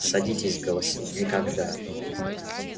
садитесь голосил никогда